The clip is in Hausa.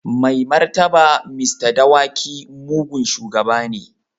Mai martaba Mr. Dawaki mugun shugaba ne.